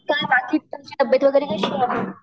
काय बाकी तुमची तबयेत वगैरे कशी आहे?